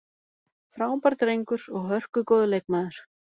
Frábær drengur og hörku góður leikmaður.